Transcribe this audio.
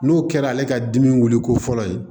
N'o kɛra ale ka dimi wuliko fɔlɔ ye